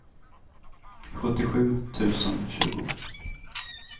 sjuttiosju tusen tjugo